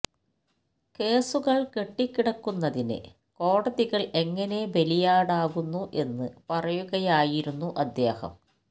കേസുകള് കെട്ടിക്കിടക്കുന്നതിന് കോടതികള് എങ്ങനെ ബലിയാടാകുന്നു എന്നു പറയുകയായിരുന്നു അദ്ദേഹം